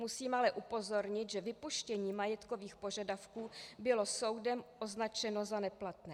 Musím ale upozornit, že vypuštění majetkových požadavků bylo soudem označeno za neplatné.